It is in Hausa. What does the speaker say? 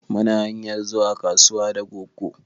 Mu na hanyar zuwa kasuwa da goggo